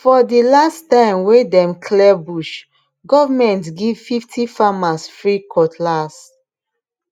for the last time time wey dem clear bush government give fifty farmers free cutlass